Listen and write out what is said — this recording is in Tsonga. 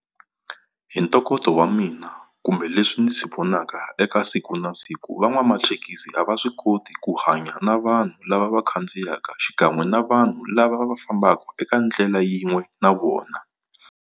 Hi ntokoto wa mina kumbe leswi ndzi vonaka eka siku na siku, van'wamathekisi a va swi koti ku hanya na vanhu lava va khandziyaka xikan'we na vanhu lava va fambaka eka ndlela yin'we na vona.